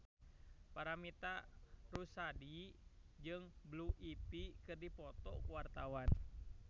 Paramitha Rusady jeung Blue Ivy keur dipoto ku wartawan